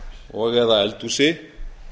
og eða eldhúsi